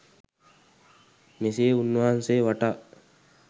මෙසේ උන්වහන්සේ වටා